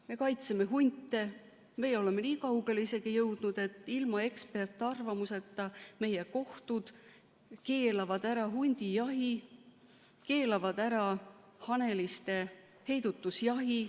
Me kaitseme hunte, me oleme nii kaugele jõudnud, et ilma eksperdiarvamuseta meie kohtud keelavad ära hundijahi, keelavad ära haneliste heidutusjahi.